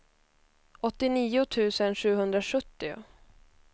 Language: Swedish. åttionio tusen sjuhundrasjuttio